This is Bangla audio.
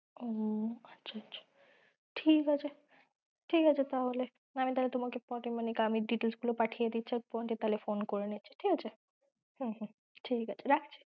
হম আচ্ছা আচ্ছা! ঠিক আছে, ঠিক আছে তাহলে আমি তোমাকে details গুলো পাঠিয়ে দিচ্ছি পরে তাহলে phone করে নিচ্ছি, ঠিক আছে! হম হম ঠিকআছে রাখছি